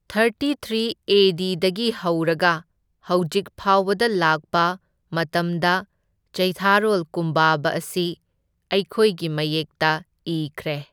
Thirty three A ꯗꯤꯗꯒꯤ ꯍꯧꯔꯒ ꯍꯧꯖꯤꯛ ꯐꯥꯎꯕꯗ ꯂꯥꯛꯄ ꯃꯇꯝꯗ ꯆꯩꯊꯥꯔꯣꯜ ꯀꯨꯝꯕꯥꯕꯥ ꯑꯁꯤ ꯑꯩꯈꯣꯏꯒꯤ ꯃꯌꯦꯛꯇ ꯏꯈ꯭ꯔꯦ꯫